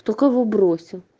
кто кого бросил